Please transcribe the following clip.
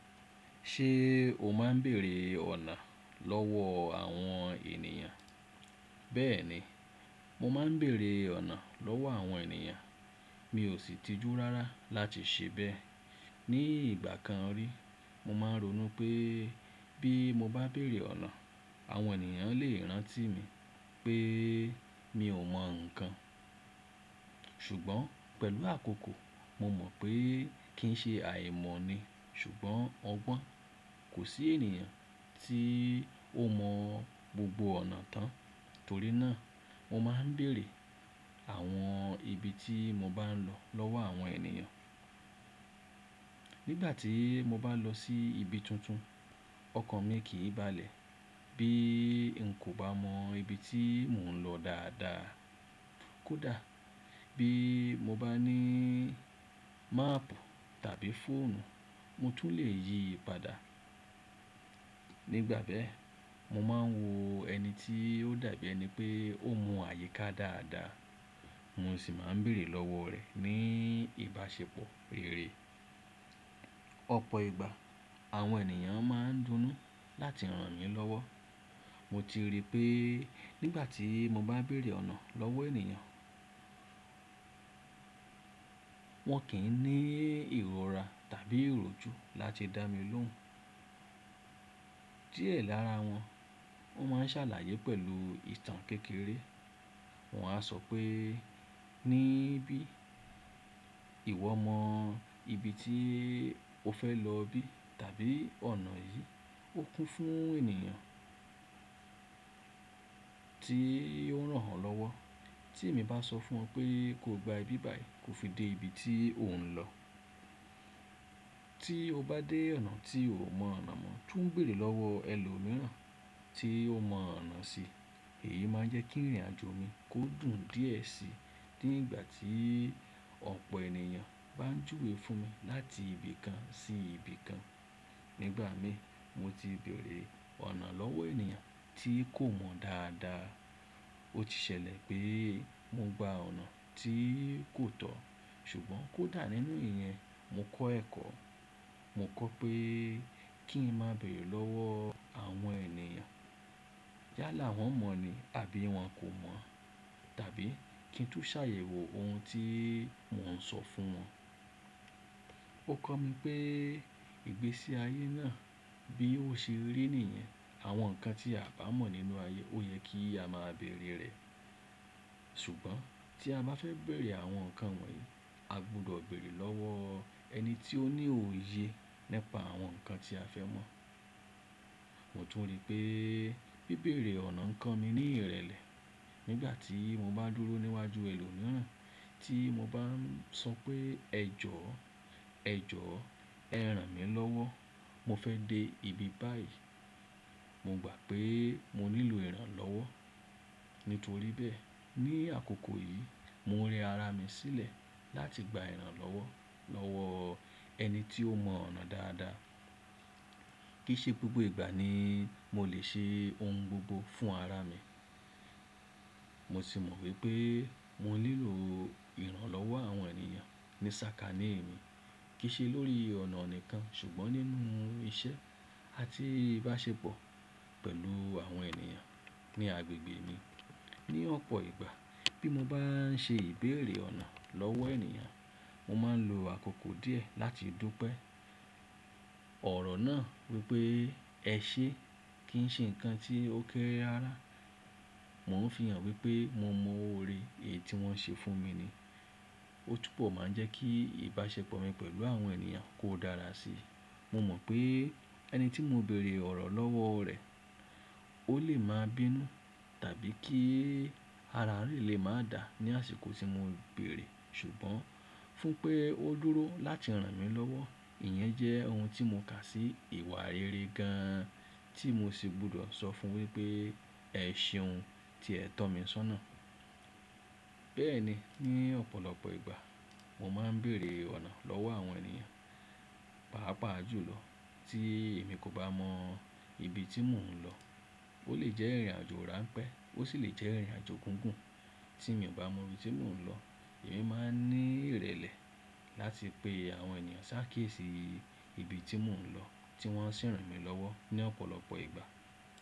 Ṣé o máa ń bèrè ọ̀nà lọ́wọ́ àwọn ènìyàn? Bẹ́ẹ̀ni, mo máa ń bèrè ọ̀nà lọ́wọ́ àwọn ènìyàn. Mi ò sì tìjú rárá láti ṣe bẹ́ẹ̀. Ni ìgbà kan rí, mo máa ń ronú pé bí mo bá bèèrè ọ̀nà, àwọn ènìyàn lè rán tí mi pé mi ò mọ̀ ǹkan. Ṣùgbọ́n pẹ̀lú àkókò, mo mọ̀ pé kí n ṣe àìmọ̀ ni. Ṣùgbọ́n ọgbọ́n, kò sí ènìyàn tí ó mọ gbogbo ọ̀nà tán. Torí náà mo máa ń bèrè àwọn ibi tí mo bá ń lọ lọ́wọ́ àwọn ènìyàn. Nígbà tí mo bá lọ sí ibi tuntun ọkàn mi kì í balẹ̀ bí n kò bá mọ ibi tí mò ń lọ dáadáa. Kódà bí mo maapu tàbí fóònù, mo tún lè yípadà. Nígbà bẹ́ẹ̀, mo máa ń wo ẹni tí ó dàbí ẹni pé ó mọ àyíká dáadáa, mo sì máa ń bèrè lọ́wọ́ rẹ̀ ní ìbáṣepọ̀ rere. Ọ̀pọ̀ ìgbà àwọn ènìyàn máa ń dunú láti ran mí lọ́wọ́. Mo ti rí pé nígbà tí mo bá bèrè ọ̀nà lọ́wọ́ ènìyàn, wọ́n kì í ní ìrora tàbí ìròjú láti dá mi lohun. Díẹ̀ lára wọn, wọ́n máa ń ṣàlàyé pẹ̀lú ìtàn kékeré. Wọ́n á sọ pé, "Ní bí, ìwọ mọ ibi tí o fẹ́ lọ bí tàbí ọ̀nà yìí." Ó kún fún ènìyàn tí ó ran wọ́n lọ́wọ́ tí èmi bá sọ fún ọ pé kó gba ibi báyìí kó fi dé ibi tí ò ń lọ. Tí o bá dé ọ̀nà tí o ò mọ ọ̀nà mọ̀, tún bèrè lọ́wọ́ ẹlòmíràn tí ó mọ ọ̀nà síi. Èyí máa ń jẹ́ kí ìrìnàjò mi kó dùn díẹ̀ si. Ní ìgbà tí ọ̀pọ̀ ènìyàn bá ń júwe fún mi láti ibi kan sí ibi kan. Nígbà mi, mo ti bèrè ọ̀nà lọ́wọ́ ènìyàn tí kò mọ dáadáa. Ó ti ṣẹlẹ̀ pé mo gba ọ̀nà tí kò tọ́. Ṣùgbọ́n kódà nínú ìyẹn, mo kọ́ ẹ̀kọ́. Mo kọ́ pé kí n má bèèrè lọ́wọ́ àwọn ènìyàn yálà wọ́n mọ̀ ni àbí wọ́n kò mọ̀ á tàbí kí n tú ṣàyẹ̀wò ohun tí mò ń sọ fún wọn. Ó kọ́ mi pé ìgbésí ayé náà bí ó ṣe rí nìyẹn. Àwọn ǹkan tí a bá mọ̀ nínú ayé ó yẹ kí a máa bèrè rẹ̀. Ṣùgbọ́n tí a bá fẹ́ bèèrè àwọn nǹkan wọ̀nyí, a gbọdọ̀ bèèrè lọ́wọ́ ẹni tí ó ní òye nípa àwọn nǹkan tí a fẹ́ mọ̀. Mo tún rí pé bí bèrè ọ̀nà ń kan mi ní ìrẹ̀lẹ̀, nígbà tí mo bá dúró níwájú ẹlòmíràn tí mo bá ń sọ pé, "Ẹ jọ, ẹ jọ, ẹ ràn mí lọ́wọ́. Mo fẹ́ dé ibi báyìí." Mo gbà pé mo nílò ìrànlọ́wọ́. Nítorí bẹ́ẹ̀, ní àkókò yìí mo rẹ ara mi sílẹ̀ láti gba ìrànlọ́wọ́ lọ́wọ́ ẹni tí ó mọ ọ̀nà dáadáa. Kì í ṣe gbogbo ìgbà ni mo lè ṣe ohun gbogbo fún ara mi. Mo sì mọ̀ wípé mo nílò ìrànlọ́wọ́ àwọn ènìyàn ní sàkání mi, kì í ṣe lórí ọ̀nà nìkan ṣùgbọ́n nínú iṣẹ́ àti ìbáṣepọ̀ pẹ̀lú àwọn ènìyàn ní agbègbè mi. Ní ọ̀pọ̀ ìgbà bí mo bá ń ṣe ìbéèrè ọ̀nà lọ́wọ́ ènìyàn, mo máa ń lo àkókò díẹ̀ láti dúpẹ́ ọ̀rọ̀ náà wípé, "Ẹ ṣé, kì í ṣe ǹkan tí ó kéré rárá." Mo ń fihàn wípé mo mọ oore èyí tí wọ́n ṣe fún mi ni. Ó tún pọ̀ máa ń jẹ́ kí ìbáṣepọ̀ mi pẹ̀lú awom ènìyàn kó dára síi. Mo mọ̀ pé ẹni tí mo bèèrè ọ̀rọ̀ lọ́wọ́ rẹ̀ ó lè máa bínú tàbí kí ara rẹ̀ lè máa dà ní àsìkò tí mo ń bèrè. Ṣùgbọ́n fún pé ó dúró láti ràn mí lọ́wọ́, ìyẹn jẹ́ ohun tí mo kà sí ìwà rere gan-an tí mo sì gbọdọ̀ sọ fún wípé, "Ẹ ṣeun tí ẹ tọ́ mi sọ́nà." Bẹ́ẹ̀ni, ní ọ̀pọ̀lọpọ̀ ìgbà mo máa ń bèrè ọ̀nà lọ́wọ́ àwọn ènìyàn, pàápàá jùlọ tí èmi kò bá mọ ibi tí mò ń lọ. Ó lè jẹ́ ìrìnàjò ráńpẹ́, ó sì lè jẹ́ ìrìnàjò gùngùn. Tí èmi ò bá mọ ibi tí mò ń lọ, èmi máa ń ní ìrẹ̀lẹ̀ láti pe àwọn ènìyàn ṣákiesi ibi tí mò ń lọ tí wọ́n sì ń ràn mí lọ́wọ́ ní ọ̀pọ̀lọpọ̀ ìgbà.